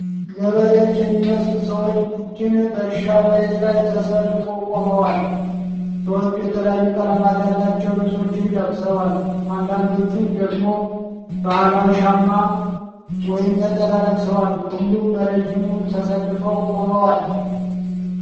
ገበሬዎች የሚመስሉ ሰዎች ቡድን በእርሻ መሬት ላይ ተሰልፎ ቆሟል። ሰዎቹ የተለያዩ ቀለማት ያላቸው ልብሶችን ለብሰዋል፤ አንዳንዶቹ ደግሞ ባህላዊ ሻማ ወይም ነጠላ ለብሰዋል። ሁሉም በረዥሙ ተሰልፈው ቆመዋል።